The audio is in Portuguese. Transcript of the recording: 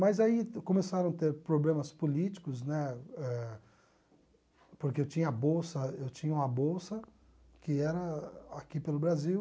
Mas aí começaram a ter problemas políticos, né, eh porque eu tinha bolsa eu tinha uma bolsa que era aqui pelo Brasil,